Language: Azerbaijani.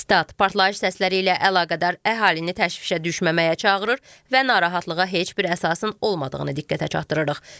Sitat: Partlayış səsləri ilə əlaqədar əhalini təşvişə düşməməyə çağırır və narahatlığa heç bir əsasın olmadığını diqqətə çatdırırıq.